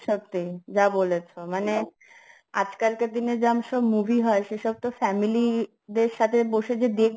সত্যি যা বলেছ মানে আজকালকার দিনে জাম সব movie হয় সেসব তো family র দের সাথে বসে যে দেখব